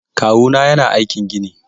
Kawuna yana aikin gini.